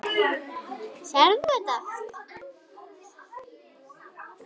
Sérð þú þetta allt?